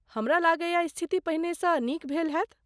हमरा लगैए, स्थिति पहिने सँ नीक भेल हैत?